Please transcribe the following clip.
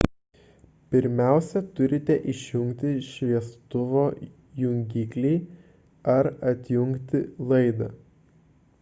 pirmiausia turite išjungti šviestuvo jungiklį ar atjungti laidą